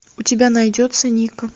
у тебя найдется ника